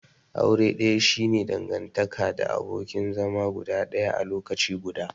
Aure daya shi ne dangantaka the abokin zama guda daya a lokaci guda.